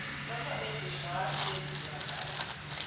Thoko ĩthutha wa steji ya mbathi